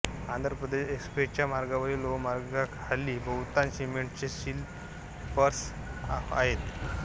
आंध्र प्रदेश एक्सप्रेसच्या मार्गावरील लोहमार्गाखाली बहुतांश सिमेंटचे स्लीपर्स आहेत